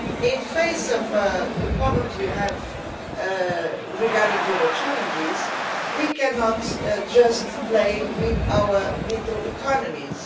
In the face of the problems we have regarding global challenges, we cannot just play with our little economies.